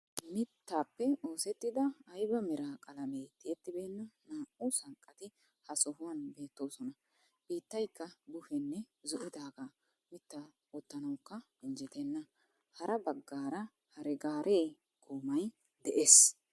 Mittappe oosettida ayba mera qalamme tiyettibenna naa'u sanqqatti ha sohuwaani beettosona. Bittaykka buhenne zo'dagga mitta wottanawukka injettena. Hara baggara hare-gaare goomay de'ees.